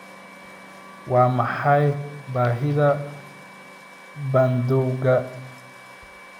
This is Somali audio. Waa maxay baahida bandowga?